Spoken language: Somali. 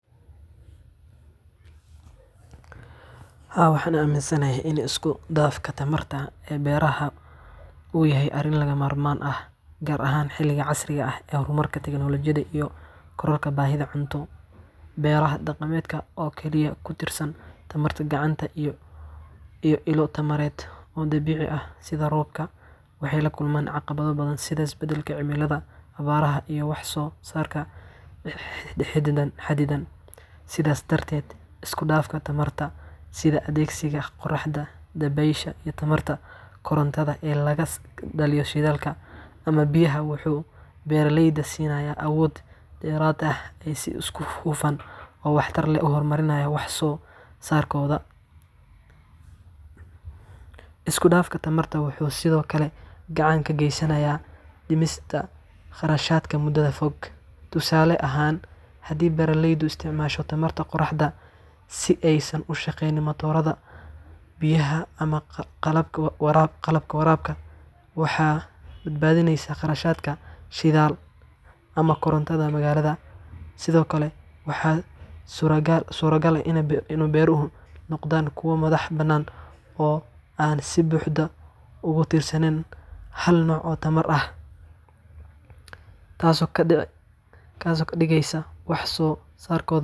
Haa, waxaan aaminsanahay in isku dhafka tamarta ee beeraha uu yahay arrin lagama maarmaan ah, gaar ahaan xilligan casriga ah ee horumarka tiknoolajiyadda iyo kororka baahida cunto. Beeraha dhaqameed oo kaliya ku tiirsan tamarta gacanta iyo ilo tamareed oo dabiici ah sida roobka, waxay la kulmaan caqabado badan sida isbedelka cimilada, abaaraha, iyo wax-soo-saarka xaddidan. Sidaas darteed, isku dhafka tamarta sida adeegsiga qoraxda, dabaysha, iyo tamarta korontada ee laga dhaliyo shidaalka ama biyaha wuxuu beeraleyda siinayaa awood dheeraad ah si ay si hufan oo waxtar leh u horumariyaan wax-soo-saarkooda. Isku dhafkan tamarta wuxuu sidoo kale gacan ka geysanayaa dhimista kharashaadka muddada fog. Tusaale ahaan, haddii beeraleydu isticmaalaan tamarta qoraxda si ay u shaqeeyaan matoorada biyaha ama qalabka waraabka, waxay badbaadinayaan kharashka shidaalka ama korontada magaalada. Sidoo kale, waxaa suuragal ah in beeruhu noqdaan kuwo madax-bannaan oo aan si buuxda ugu tiirsanayn hal nooc oo tamar ah, taasoo ka dhigaysa wax-soo-saarkooda.